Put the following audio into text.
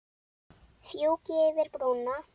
Fjúki yfir brúna.